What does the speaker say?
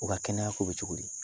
U ka kɛnɛya ko bɛ cogo di